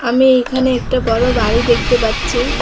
আমি এইখানে একটা বড় বাড়ি দেখতে পাচ্ছি।